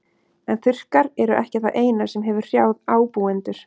En þurrkar eru ekki það eina sem hefur hrjáð ábúendur.